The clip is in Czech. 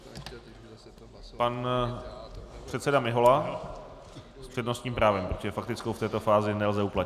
Pan předseda Mihola s přednostním právem, protože faktickou v této fázi nelze uplatnit.